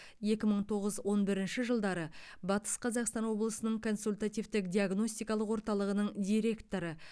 екі мың тоғыз он бірінші жылдары батыс қазақстан облысының консультативтік диагностикалық орталығының директоры